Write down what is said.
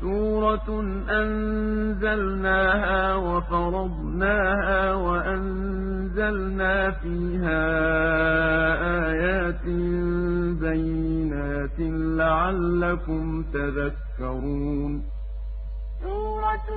سُورَةٌ أَنزَلْنَاهَا وَفَرَضْنَاهَا وَأَنزَلْنَا فِيهَا آيَاتٍ بَيِّنَاتٍ لَّعَلَّكُمْ تَذَكَّرُونَ سُورَةٌ